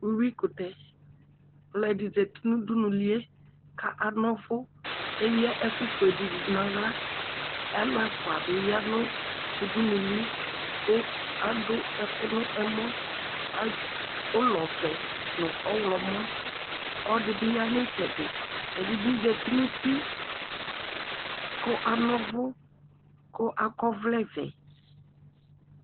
Uwikʋtɛ ɔlʋɛdi zati nʋ ʋdʋnʋlie kʋ anɔ ʋvʋ eya ɛkʋfue di dʋ nʋ aɣla alʋ ɛfʋabi yanʋ ʋdʋnʋli kʋ adʋ ɛkʋ nʋ ɛmɔ ʋlɔvɛ nʋ ɔwlɔmɔ ɔlɔdibi yanʋ itsɛdi ɛdibi zati nʋ uti kʋ anɔ ʋvʋkʋ akɔ ɔvlɛvɛ